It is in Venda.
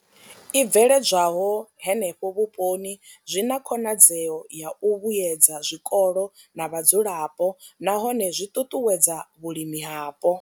I bveledzwaho henefho vhuponi zwi na khonadzeo ya u vhuedza zwikolo na vhadzulapo nahone zwi ṱuṱuwedza vhulimi hapo.